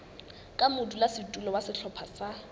ka modulasetulo wa sehlopha sa